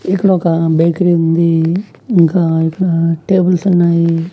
ఇక్కడ ఒక బేకరీ ఉంది ఇంకా ఇక్కడ టేబుల్స్ ఉన్నాయి.